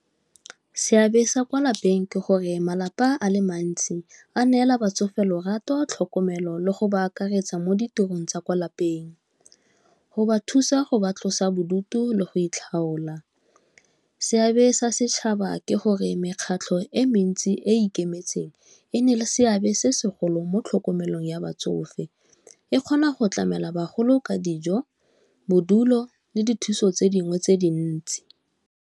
Seabe sa kwa lapeng ke gore malapa a le mantsi a neela batsofe lorato, tlhokomelo, le go ba akaretsa mo ditirong tsa kwa lapeng, go ba thusa go ba tlosa bodutu le go itlhaola. Seabe sa setšhaba ke gore mekgatlho e mentsi e e ikemetseng e na le seabe se segolo mo tlhokomelong ya batsofe, e kgona go tlamela bagolo ka dijo, bodulo, le dithuso tse dingwe tse dintse.